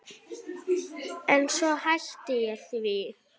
En svo hætti ég því.